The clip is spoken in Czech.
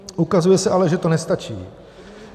Ukazuje se ale, že to nestačí.